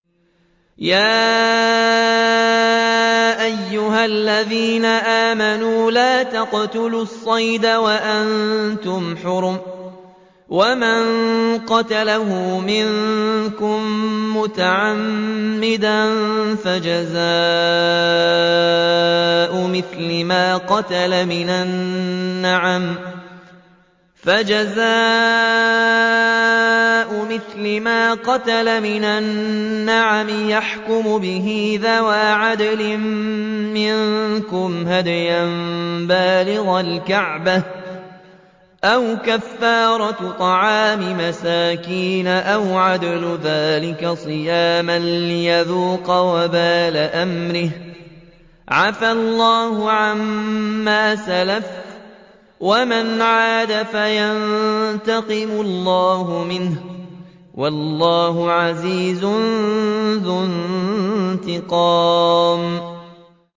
يَا أَيُّهَا الَّذِينَ آمَنُوا لَا تَقْتُلُوا الصَّيْدَ وَأَنتُمْ حُرُمٌ ۚ وَمَن قَتَلَهُ مِنكُم مُّتَعَمِّدًا فَجَزَاءٌ مِّثْلُ مَا قَتَلَ مِنَ النَّعَمِ يَحْكُمُ بِهِ ذَوَا عَدْلٍ مِّنكُمْ هَدْيًا بَالِغَ الْكَعْبَةِ أَوْ كَفَّارَةٌ طَعَامُ مَسَاكِينَ أَوْ عَدْلُ ذَٰلِكَ صِيَامًا لِّيَذُوقَ وَبَالَ أَمْرِهِ ۗ عَفَا اللَّهُ عَمَّا سَلَفَ ۚ وَمَنْ عَادَ فَيَنتَقِمُ اللَّهُ مِنْهُ ۗ وَاللَّهُ عَزِيزٌ ذُو انتِقَامٍ